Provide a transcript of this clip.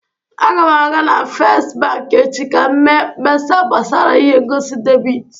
A ga m aga na Fest bank echi ka m mee mkpesa gbasara ihe ngosi debit